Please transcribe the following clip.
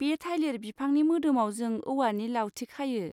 बे थाइलिर बिफांनि मोदोमाव जों औवानि लावथि खायो।